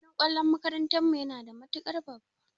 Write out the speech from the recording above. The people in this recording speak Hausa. Filin kwallo na makarantan mu yana da matukar babba.